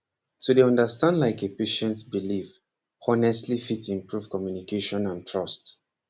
to dey understand like a patient belief honestly fit improve communication and trust